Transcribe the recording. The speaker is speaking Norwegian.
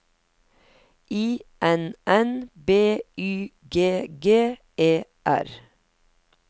I N N B Y G G E R